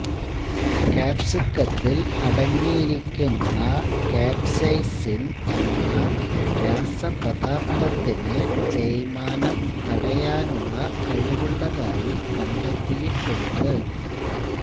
ക്യാപ്സിക്കത്തിൽ അടങ്ങിയിരിക്കുന്ന കാപ്സെയ്സിൻ എന്ന രാസപദാർഥത്തിനു തേയ്മാനം തടയുവാനുള്ള കഴിവുള്ളതായി കണ്ടെത്തിയിട്ടുണ്ട്